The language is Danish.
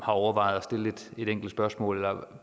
overvejet at stille et enkelt spørgsmål